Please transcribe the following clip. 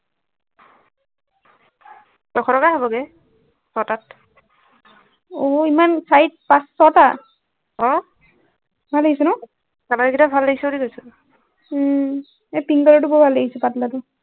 ছশ টকা হবগে এটাত অ ইমান চাৰি পাঁচ ছটা অ ভাল লাগিছে ন color গিটা ভাল লাগিছে বুলি কৈছো উম এই তিনি টো বৰ ভাল লাগিছে পাতলাটো